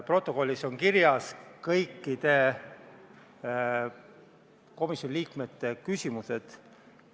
Protokollis on kirjas kõikide komisjoni liikmete küsimused.